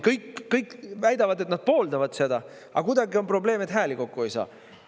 Kõik väidavad, et nad pooldavad seda, aga kuidagi on probleem, et hääli ei saa kokku.